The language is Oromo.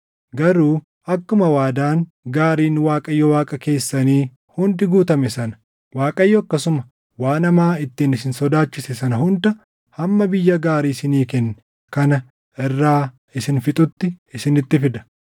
Garuu akkuma waadaan gaariin Waaqayyo Waaqa keessanii hundi guutame sana, Waaqayyo akkasuma waan hamaa ittiin isin sodaachise sana hunda hamma biyya gaarii isinii kenne kana irraa isin fixutti isinitti fida.